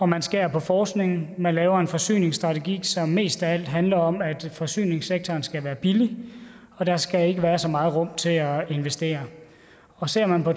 man skærer på forskningen man laver en forsyningsstrategi som mest af alt handler om at forsyningssektoren skal være billig og der skal ikke være så meget rum til at investere ser man på